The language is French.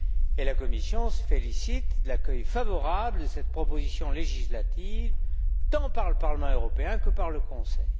Et la Commission se félicite de l'accueil favorable de cette proposition législative tant par le Parlement européen que par le Conseil.